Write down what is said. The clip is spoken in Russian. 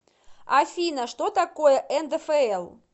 афина что такое ндфл